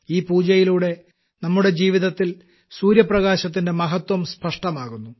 ഈ പൂജയിലൂടെ നമ്മുടെ ജീവിതത്തിൽ സൂര്യപ്രകാശത്തിന്റെ മഹത്വം സ്പഷ്ടമാകുന്നു